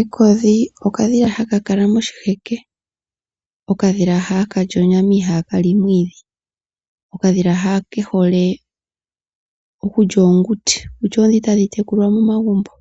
Ekodhi okadhila hakakala moshi heke okadhila hakalili onyama ihakali omwiidhi. Okadhila ha kehole okulya oonguti kutya oodhi tadhitekulwa momagumbo.